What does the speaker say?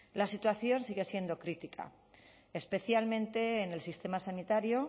la situación sigue siendo crítica especialmente en el sistema sanitario